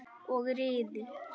Og riðuðu.